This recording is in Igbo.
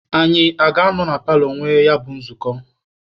Anyị a ga-anọ na paalọ nwee ya bụ nzukọ?